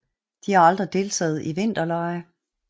De har aldrig deltaget i vinterlege